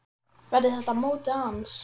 Verður þetta mótið hans?